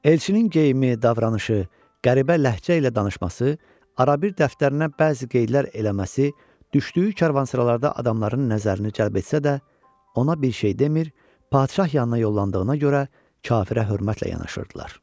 Elçinin geyimi, davranışı, qəribə ləhcə ilə danışması, arabir dəftərinə bəzi qeydlər eləməsi düşdüyü karvansaralarda adamların nəzərini cəlb etsə də, ona bir şey demir, padşah yanına yollandığına görə kafirə hörmətlə yanaşırdılar.